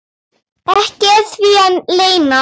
ekki er því að leyna.